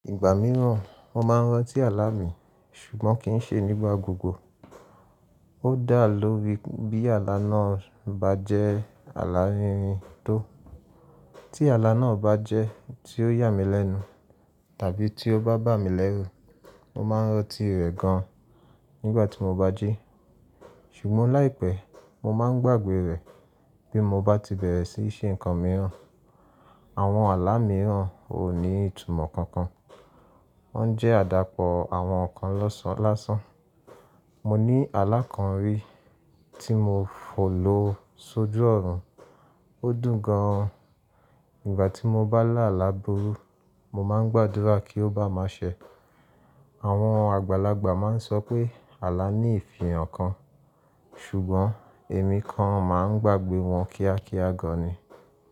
Ìgbà mìíràn mo máa ń rántí àlà mi ṣùgbọ́n kì í ṣe nígbà gbogbo. Ko dá lórí bí àlà náà bá jẹ́ àlà rírin tó. Tí àlà náà bá jẹ́ tí ó yà mí lẹ́nu tàbí tí ó bá bà mí lẹ́rù, mo máa ń rántí rẹ̀ gan nígbà tí mo bá jí. Ṣùgbọ́n láìpẹ́ mo máa ń gbàgbé rẹ̀ bí mo bá ti bẹ̀rẹ̀ sí í ṣe nǹkan mìíràn. Àwọn àlà mìíràn ò ní ìtumọ̀ kankan, wọ́n jẹ́ àdàpọ̀ àwọn nǹkan lọ́san lásán. Mo ní àlà kan rí tí mo fò lò sójú ọ̀run, ó dùn gan. Nígbà tí mo bá là alá burú, mo máa ń gbàdúrà kí ó bá má ṣẹ. Àwọn àgbàlagbà máa ń sọ pé àlà ní ìfihàn kan ṣùgbọ́n èmi kan máa ń gbàgbé wọn kíákíá gan ni.